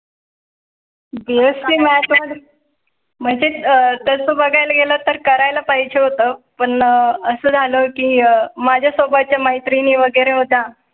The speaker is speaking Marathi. BSC math मध्ये म्हणजे अं तसं बघायला गेलं तर करायला पाहिजे होतं. पण असं झालं की माझ्या सोबतच्या मैत्रिणी वगैरे होता.